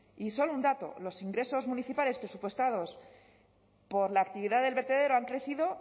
y solo un dato los ingresos municipales presupuestados por la actividad del vertedero han crecido